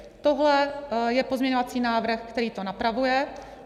Tohle je pozměňovací návrh, který to napravuje.